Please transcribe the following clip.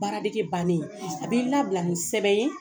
Baaradege bannen a b'i labila nin sɛbɛn ye